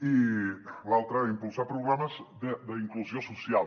i l’altre impulsar programes d’inclusió social